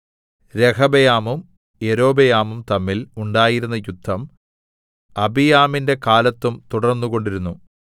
രെഹബെയാമും യൊരോബെയാമും തമ്മിൽ ഉണ്ടായിരുന്ന യുദ്ധം അബീയാമിന്റെ കാലത്തും തുടർന്നുകൊണ്ടിരുന്നു